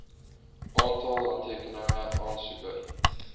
aantal handtekeninge aansoeker